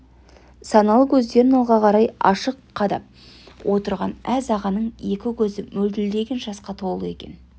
саналы көздерін алға қарай ашық қадап отырған әз ағаның екі көзі мөлтілдеген жасқа толы екен